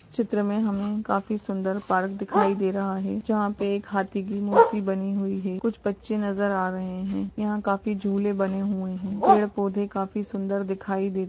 चित्र में हमें काफ़ी सुन्दर पार्क दिखाई दे रहा है जहाँ पे एक हाथी की मूर्ति बनी हुई हैं। कुछ बच्चे नज़र आ रहे हैं। यहाँ काफ़ी झूले बने हुए हैं। पेड़ पौधे काफ़ी सुन्दर दिखाई दे --